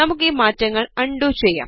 നമുക്ക് ഈ മാറ്റങ്ങൾ അൺഡു ചെയ്യാം